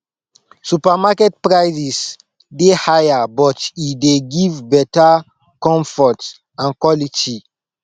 supermarket prices dey higher but e dey give better comfort and quality